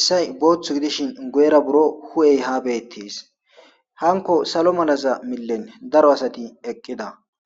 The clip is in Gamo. issay booththu gidishin go'era buro hu'ey ha beettes hanko salo malaza millen daro asati eqqida